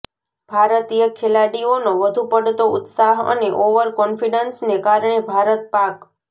ભારતીય ખેલાડીઓનો વધુ પડતો ઉત્સાહ અને ઓવર કોન્ફીડન્સને કારણે ભારત પાક